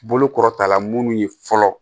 Bolo kɔrɔta la munnu ye fɔlɔ